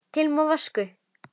Til Moskvu